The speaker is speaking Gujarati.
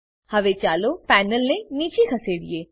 હવે ચાલો પેનલને નીચે ખસેડીએ